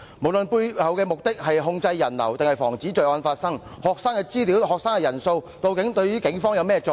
不論背後的目的是控制人流或防止罪案發生，學生的資料及人數對警方有何作用？